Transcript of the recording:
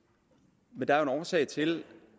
men der er jo en årsag til